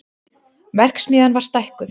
Verksmiðjan var stækkuð